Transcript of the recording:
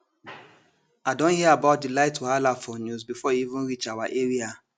i don hear about di light wahala for news before e even reach our area